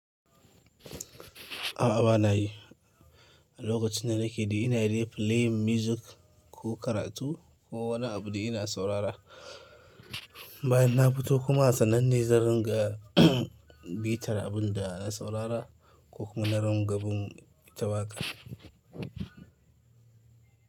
A'a, ba na yi. Lokacin da nake dai ina dai playing music ko karatu ko wani abu dai ina saurara bayan na fito kuma a sannan ne zan ringa bitar abun da na saurara ko kuma na ringa bin ita waka.